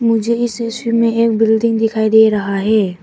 मुझे इस दृश्य में एक बिल्डिंग दिखाई दे रहा है।